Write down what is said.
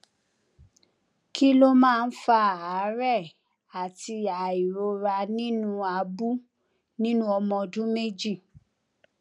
kí ló máa ń fa àárè àti àìróra nínú abú nínú ọmọ ọdún méjì